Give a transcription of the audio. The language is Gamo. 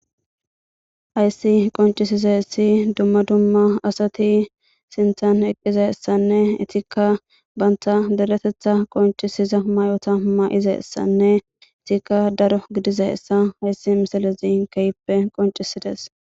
Hayssi qonccisizayssi dumma dumma asati sinthan eqqizayssanne eettikka bantta deretetha qonccisiza ma'ota ma'izayssanne eettikka daro gidizayssa hayssi misilezii keehippe qonccisides